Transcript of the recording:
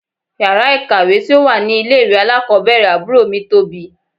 Yàrá ìkàwé tí ó wà ní ilé ìwé alákọ̀ọ́bẹ̀rẹ̀ àbúrò mi tóbi.